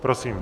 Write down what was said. Prosím.